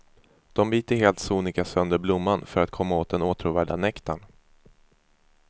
De biter helt sonika sönder blomman för att komma åt den åtråvärda nektarn.